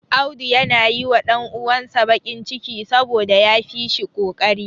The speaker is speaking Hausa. Auda yana yi wa ɗan uwansa baƙin ciki, saboda ya fi shi ƙoƙari.